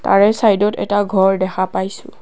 তাৰে চাইডত এটা ঘৰ দেখা পাইছোঁ।